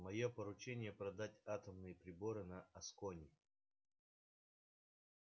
моё поручение продать атомные приборы на аскони